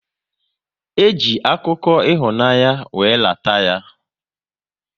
E ji akụkọ ịhụnanya wéré lata ya